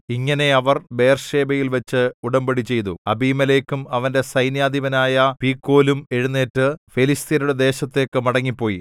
ഇങ്ങനെ അവർ ബേർശേബയിൽവച്ച് ഉടമ്പടിചെയ്തു അബീമേലെക്കും അവന്റെ സൈന്യാധിപനായ പീക്കോലും എഴുന്നേറ്റ് ഫെലിസ്ത്യരുടെ ദേശത്തേക്ക് മടങ്ങിപ്പോയി